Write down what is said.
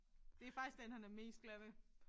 Det faktisk den han er mest glad ved